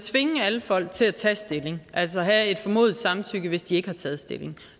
tvinge alle folk til at tage stilling altså have et formodet samtykke hvis de ikke har taget stilling